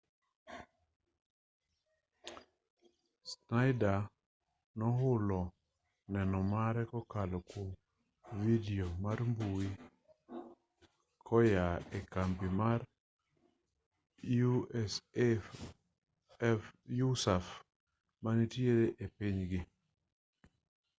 schneider nohulo neno mare kokalo kwom vidio mar mbui koyaa e kambi mar usaf manitiere e pinygi